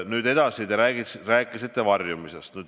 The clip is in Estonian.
Nüüd edasi, te rääkisite varjumisest.